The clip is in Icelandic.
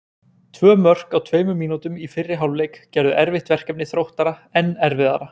Tvö mörk á tveimur mínútum í fyrri hálfleik gerðu erfitt verkefni Þróttara enn erfiðara.